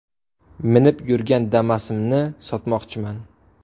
Minib yurgan Damas’imni sotmoqchiman.